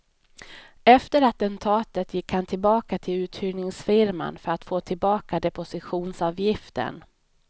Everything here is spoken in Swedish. Efter attentatet gick han tillbaka till uthyrningsfirman för att få tillbaka depositionsavgiften.